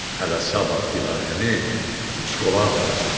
Hələ sabah Dilarəni uçkola aparacam.